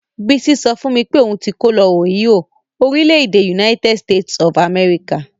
Bisi sọ fún mi pé òun ti kó lọ Ohio, orílẹ̀-èdè United States of America.